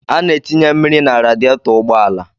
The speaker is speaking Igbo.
A na-etinye mmiri na radietọ ụgbọala.